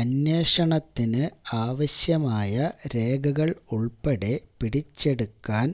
അന്വേഷണത്തിന് ആവശ്യമായ രേഖകൾ ഉൾപ്പടെ പിടിച്ചെടുക്കാൻ